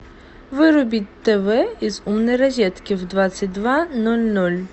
вырубить тв из умной розетки в двадцать два ноль ноль